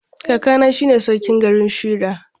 Kakana shine sarkin garin Shira.